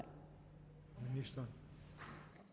så